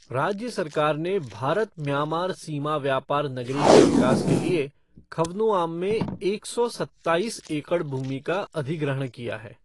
राज्य सरकार ने भारत म्यांमार सीमा व्यापार नगरी के विकास के लिए खवनुआम में एक सौ सत्ताईस एकड़ भूमि का अधिग्रहण किया है।